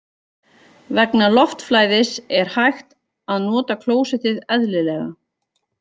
Vegna loftflæðis er hægt að nota klósettið eðlilega.